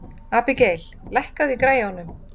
Abigael, lækkaðu í græjunum.